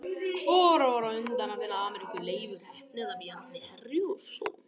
Hvor var á undan að finna Ameríku, Leifur heppni eða Bjarni Herjólfsson?